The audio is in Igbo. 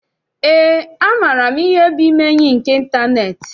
Eé, amaara m ihe bụ ime enyi nke ịntaneetị.